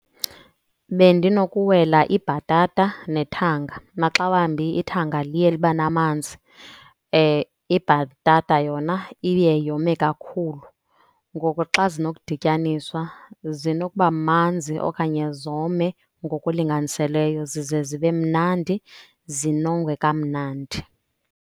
Bendinokuwela ibhatata nethanga. Maxa wambi ithanga liye liba namanzi, ibhatata yona iye yome kakhulu. Ngoku xa zinokudityaniswa zinokuba manzi okanye zome ngokulinganiseleyo zize zibe mnandi zinongwe kamnandi.